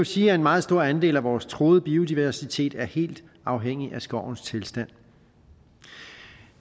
sige at en meget stor andel af vores truede biodiversitet er helt afhængig af skovens tilstand